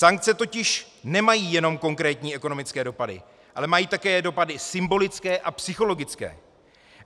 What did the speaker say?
Sankce totiž nemají jenom konkrétní ekonomické dopady, ale mají také dopady symbolické a psychologické.